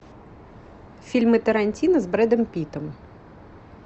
фильмы тарантино с брэдом питтом